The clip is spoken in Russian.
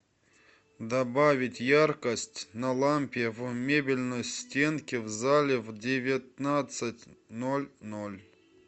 добавить яркость на лампе в мебельной стенке в зале в девятнадцать ноль ноль